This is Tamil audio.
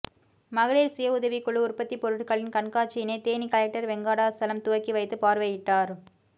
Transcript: மகளிர் சுய உதவிக்குழு உற்பத்தி பொருட்களின் கண்காட்சியினை தேனி கலெக்டர் வெங்கடாசலம் துவக்கி வைத்து பார்வையிட்டார்